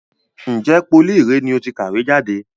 Ǹjẹ́ pólì ìré ni ó ti kàwé jáde?